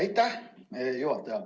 Aitäh, juhataja!